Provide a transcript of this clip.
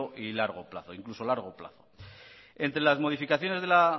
e incluso largo plazo entre las modificaciones de la